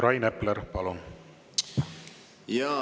Rain Epler, palun!